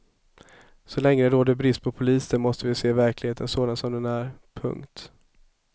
Så länge det råder brist på poliser måste vi se verkligheten sådan som den är. punkt